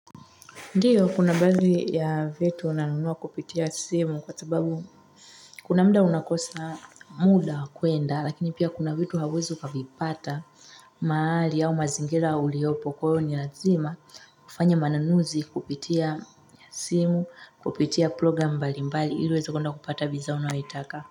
Ndiyo kuna baadhi ya vitu nanunua kupitia simu kwa sababu kuna mda unakosa muda kuenda lakini pia kuna vitu hauwezi kabipata maali au mazingira uliopo kuyo ni lazima kufanya mananuzi kupitia simu kupitia program mbali mbali iluwezo kunda kupata biza unawaitaka.